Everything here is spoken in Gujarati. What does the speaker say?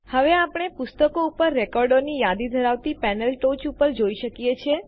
હવે આપણે પુસ્તકો ઉપર રેકોર્ડોની યાદી ધરાવતી પેનલ ટોચ પર જોઈ શકીએ છીએ